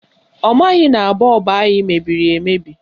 Ọ maghị na bọọbụ anyị mebiri emebi